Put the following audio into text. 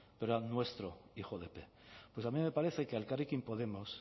p pero era nuestro hijo de p pues a mí me parece que a elkarrekin podemos